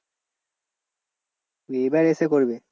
এবার এসে করবে?